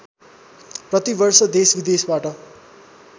प्रति वर्ष देशविदेशबाट